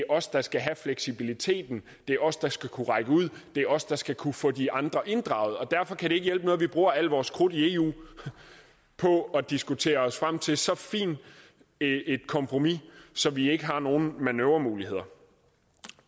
os der skal have fleksibiliteten det er os der skal kunne række ud det er os der skal kunne få de andre inddraget derfor kan det ikke hjælpe noget at vi bruger al vores krudt i eu på at diskutere os frem til så fint et kompromis så vi ikke har nogle manøvremuligheder